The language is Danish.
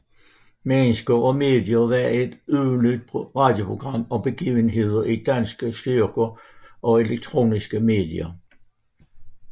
Mennesker og medier var et ugentligt radioprogram om begivenheder i danske trykte og elektroniske medier